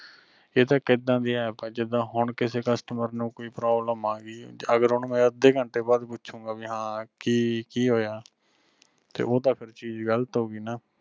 ਇਹ ਤਾਂ ਇੱਕ ਏਦਾਂ ਦੀ app ਆ ਜਿਦਾਂ ਹੁਣ ਕਿਸੇ customer ਨੂੰ ਕੋਈ problem ਆਗੀ ਅਗਰ ਓਹਨੂੰ ਅੱਧੇ ਘੰਟੇ ਬਾਅਦ ਪੁਛੂਗਾ ਵੀ ਹਾਂ ਕਿ ਹੋਇਆ ਤੇ ਉਹ ਤਾਂ ਚੀਜ ਗ਼ਲਤ ਹੋਗੀ ਨਾਂ।